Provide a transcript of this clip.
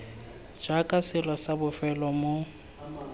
jaaka selo sa bofelo mo